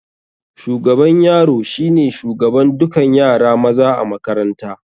Shugaban yaro shine shugaban dukan yara maza a makaranta